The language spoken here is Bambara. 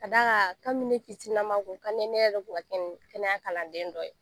Ka d'a kan kabini ne fitininnama a tun ka di n ye ne yɛrɛ tun ka kɛ kɛnɛya kalanden dɔ ye